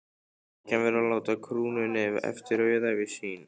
Kirkjan verður að láta krúnunni eftir auðæfi sín.